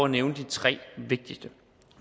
nævne de tre vigtigste